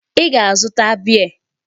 Ị ga-azụta beer!